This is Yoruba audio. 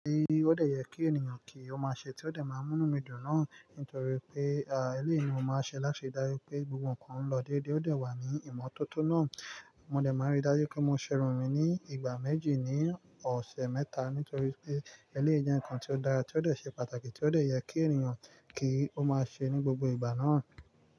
Ti o dẹ yẹ kí ènìyàn kí ó má ṣe tí ó dẹ máa mú inu dùn náà nítorí pé, à, eléyì ni mo máa ṣe láṣe dájú pé gbogbo nǹkan n lọ dédé ó dẹ wà ní ìmọ́tótó náà. Mo dẹ maa n ri daju pe mo se irun mi ni igba meji ni ọsẹ meta nitori pe eleyii je nnkan ti o dara ti o dẹ se pataki ti o dẹ yẹ ki eniyan ki o maa se ni gbogbo igba naa.